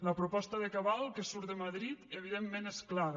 la proposta de cabal que surt de madrid evidentment és clara